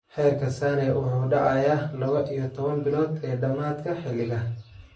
Xeerka Sane wuxuu dhacayaa lawa iyo tawan bilood ee dhammaadka xilliga.